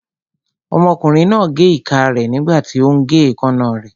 Ọmọkùnrin náà gé ìka rẹ̀ nígbàtí ó ún gé èékánná rẹ̀